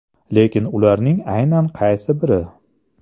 Lekin ularning aynan qaysi biri?